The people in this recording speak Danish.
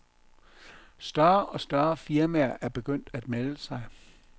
Større og større firmaer er begyndt at melde sig.